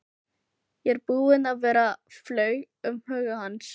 Ég er búinn að vera, flaug um huga hans.